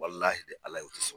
Walahi Ala ye u tɛ sɔn